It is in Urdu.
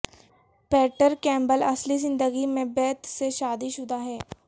پیٹر کیمبل اصلی زندگی میں بیت سے شادی شدہ ہے